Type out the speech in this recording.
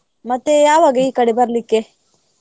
ಮತ್ತೆ ಯಾವಾಗ ಈ ಕಡೆ ಬರಲಿಕ್ಕೆ?